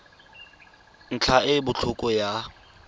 ntlha e e botlhokwa ya